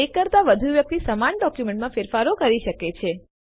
એક કરતાં વધુ વ્યક્તિ સમાન ડોક્યુમેન્ટમાં ફેરફારો કરી શકે છે